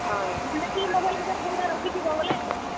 ହଏ ।